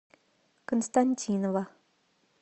константинова